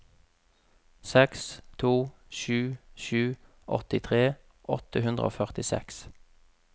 seks to sju sju åttitre åtte hundre og førtiseks